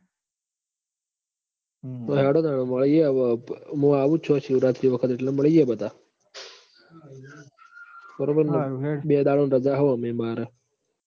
હેંડો તાણ વ આઇયે હવ મું આવું જ છું આ શિવરાત્રી વખત એટલ મળીએ બધા બરોબર ન બે દાડાની રજા હ ઓમય માર